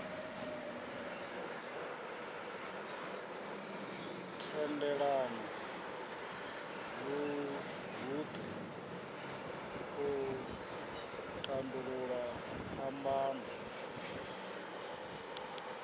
thendelano guṱe u tandulula phambano